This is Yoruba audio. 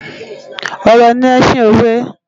Òrò ni èsin ówè